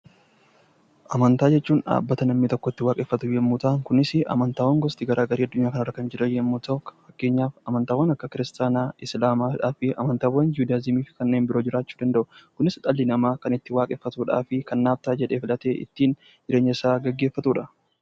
Amantaa jechuun dhaabbata namni tokko itti waaqeffatu yoo ta'u, kunis amantaawwan gosa garaagaraa kan addunyaa kanarra kan jiran yoo ta'u, fakkeenyaaf amantaawwan kan akka kiristaanaa, islaamaa fi amantaawwan juudaayizimii fi kanneen biroo jiraachuu danda'u. Innis kan dhalli namaa itti waaqeffatuu fi kan naaf ta'a jedhee fudhatee ittiin jireenyasaa gaggeeffatudha.